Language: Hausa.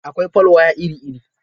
Akwai folwaya iri-iri.